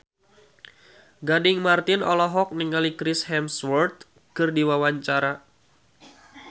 Gading Marten olohok ningali Chris Hemsworth keur diwawancara